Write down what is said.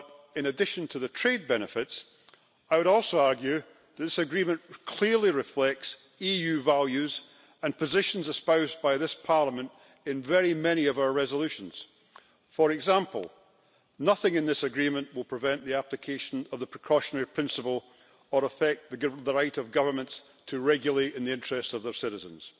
In addition to the trade benefits, however, I would also argue that the agreement clearly reflects EU values and positions espoused by this Parliament in very many of our resolutions. For example, nothing in this agreement will prevent the application of the precautionary principle or affect the right of governments to regulate in the interest of their citizens.